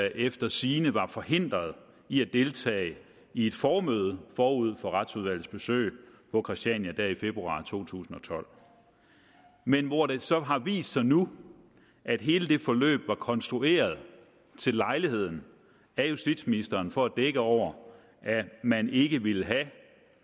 efter sigende var forhindret i at deltage i et formøde forud for retsudvalgets besøg på christiania der i februar to tusind og tolv men hvor det så har vist sig nu at hele det forløb var konstrueret til lejligheden af justitsministeren for at dække over at man ikke ville have at